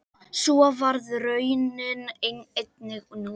Svo varð raunin einnig nú.